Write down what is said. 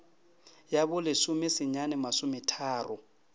ya bo lesome senyane masometharo